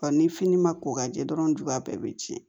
Ka ni fini ma ko ka jɛ dɔrɔn juguya bɛɛ bɛ tiɲɛ